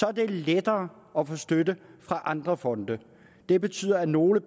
er det lettere at få støtte fra andre fonde det betyder at nogle